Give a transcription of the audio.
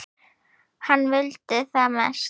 Hann vildi það mest.